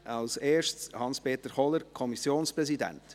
Als Erstes spricht Hans-Peter Kohler, Kommissionspräsident.